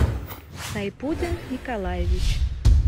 сайпутин николаевич